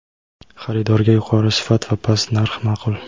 Xaridorga yuqori sifat va past narx ma’qul.